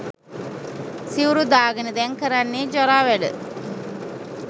සිවුරු දාගෙන දැන් කරන්නේ ජරා වැඩ